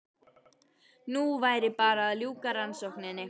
Nú væri bara að ljúka rannsókninni.